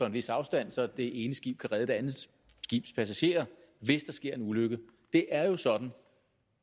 en vis afstand så det ene skib kan redde det andet skibs passagerer hvis der sker en ulykke det er jo sådan